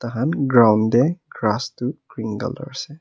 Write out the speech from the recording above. ground te grass tu green colour ase.